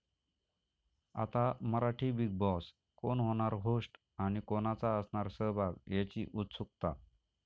आता Marathi 'Bigg Boss', कोण होणार होस्ट आणि कोणाचा असणार सहभाग याची उत्सुकता